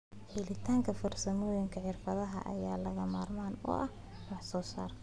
Helitaanka farsamooyinka xirfadeed ayaa lagama maarmaan u ah wax soo saarka.